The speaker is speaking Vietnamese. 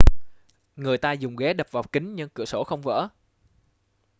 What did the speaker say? người ta dùng ghế đập vào kính nhưng cửa sổ không vỡ